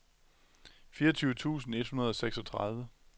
fireogtyve tusind et hundrede og seksogtredive